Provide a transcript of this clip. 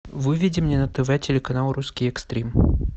выведи мне на тв телеканал русский экстрим